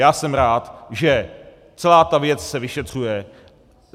Já jsem rád, že celá ta věc se vyšetřuje.